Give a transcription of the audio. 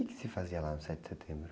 O quê que se fazia lá no sete de setembro?